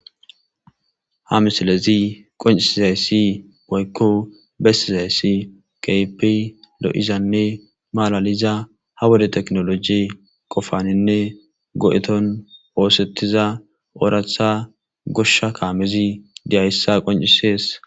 Ha missilezi qoncisizayssi woykko besizayssi kehippe loo'zanne malaliza ha wode teknolojye qofaninne goo'ethon ossetiza woratha goshsha kamezi diyssa qoncisess.